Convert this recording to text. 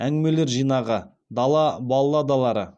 әңгімелер жинағы дала балладалары